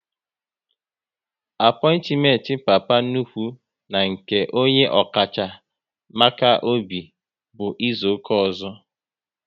Apointiment Papa nnukwu na nke onye ọkacha maka obi bụ izuka ọzọ